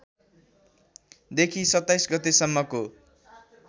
देखि २७ गते सम्मको